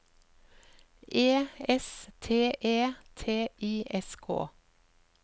E S T E T I S K